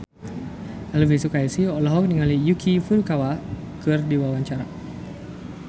Elvi Sukaesih olohok ningali Yuki Furukawa keur diwawancara